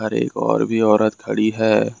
एक और भी औरत खड़ी है।